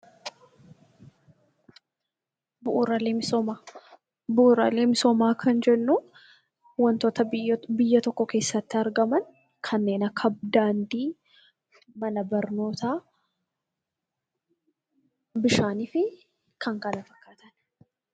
Bu'uuraalee misoomaa Bu'uuraalee misoomaa Kan jennuun waantota biyya tokko keessatti argaman kanneen akka daandii, mana barnootaa, bishaan fi kan kana fakkaatan.